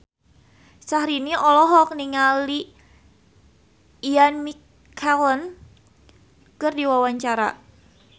Syahrini olohok ningali Ian McKellen keur diwawancara